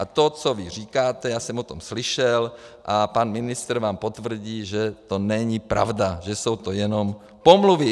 A to, co vy říkáte, já jsem o tom slyšel a pan ministr vám potvrdí, že to není pravda, že jsou to jenom pomluvy.